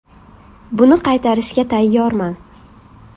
Buni qaytarishga tayyorman.